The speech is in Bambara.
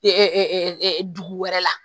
dugu wɛrɛ la